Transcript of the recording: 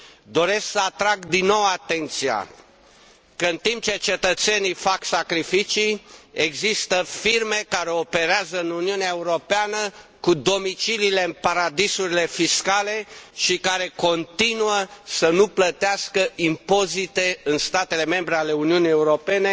Doresc să atrag din nou atenția că, în timp ce cetățenii fac sacrificii, există firme care operează în Uniunea Europeană, dar au domiciliile în paradisuri fiscale și continuă să nu plătească impozite în statele membre ale Uniunii Europene.